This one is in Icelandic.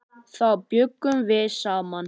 Þá bjuggum við saman.